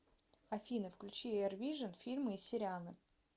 афина включи эрвижин фильмы и сериалы